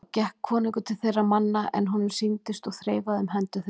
Þá gekk konungur til þeirra manna er honum sýndist og þreifaði um hendur þeim.